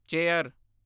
chair